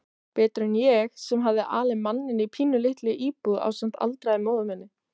Betur en ég sem hafði alið manninn í pínulítilli íbúð ásamt aldraðri móður minni.